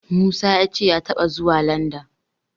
Musa ya ce ya taɓa zuwa Landan.